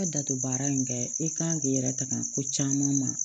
I bɛ datugu baara in kɛ i kan k'i yɛrɛ tanga ko caman ma